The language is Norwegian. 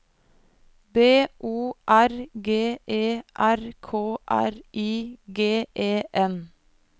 B O R G E R K R I G E N